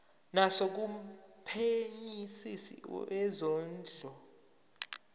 naso kumphenyisisi wezondlo